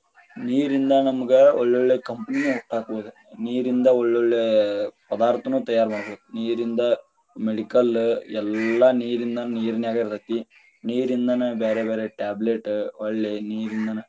ನೀರಿಂದ ನಮಗ ಒಳ್ಳೆ ಒಳ್ಳೆ company ಹುಟ್ಟಾಕಬಹುದ, ನೀರಿಂದ ಒಳ್ಳೊಳ್ಳೆ ಪದಾರ್ಥನು ತಯಾರ ಮಾಡಬಹುದ, ನೀರಿಂದ medical ಎಲ್ಲಾ ನೀರಿಂದ ನೀರಿನ್ಯಾಗ ಇರತೇತಿ, ನೀರಿಂದನ ಬ್ಯಾರೆ ಬ್ಯಾರೆ tablet ಹೊಳ್ಳಿ ನೀರಿಂದನ.